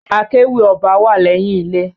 Akéwì ọba wá lẹyìn ilé.